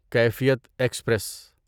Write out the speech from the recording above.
کیفیت ایکسپریس